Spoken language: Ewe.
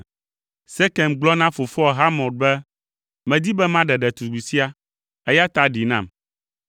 Sekem gblɔ na fofoa Hamor be, “Medi be maɖe ɖetugbi sia, eya ta ɖee nam.”